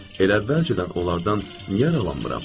Elə əvvəlcədən onlardan niyə aralanmıram?